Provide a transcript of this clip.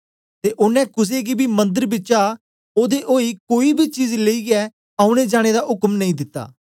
ते ओनें कुसे गी बी मंदर बिचा ओदे ओई कोई बी चीज लेईयै औने जाने दा उक्म नेई दिता